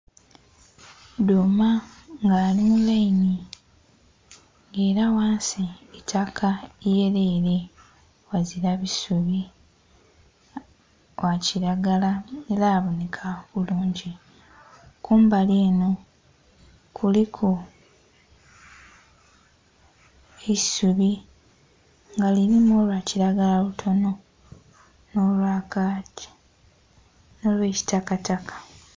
Dhuuma nga ali mu layini nga ela ghansi itaka iyelele ghazila bisubi, gha kilagala ela abonheka bulungi. Kumbali enho kuliku eisubi nga lilimu olwa kilagala lutonho, nho lwa kaaki nh'olwa kitakataka.